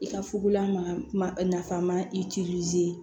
I ka fugulama nafama i